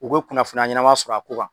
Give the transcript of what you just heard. U be kunnafoni ɲɛnama sɔrɔ a ko kan.